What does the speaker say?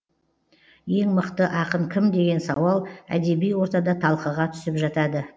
ең мықты ақын кім деген сауал әдеби ортада талқыға түсіп жатады